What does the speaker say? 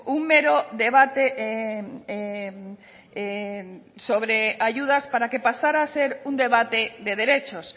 un mero debate sobre ayudas para que pasara a ser un debate de derechos